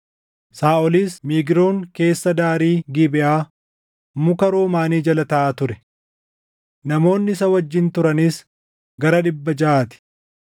Saaʼolis Migroon keessa daarii Gibeʼaa muka Roomaanii jala taaʼaa ture. Namoonni isa wajjin turanis gara dhibba jaʼaa ti;